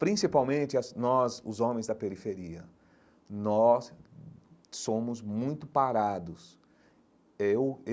Principalmente as nós, os homens da periferia, nós somos muito parados eu.